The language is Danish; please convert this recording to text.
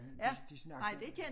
Ja de de snakkede